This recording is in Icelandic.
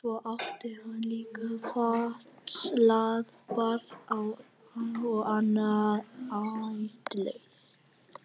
Svo átti hann líka fatlað barn og annað ættleitt.